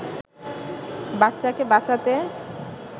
বাচ্চাকে বাঁচাতে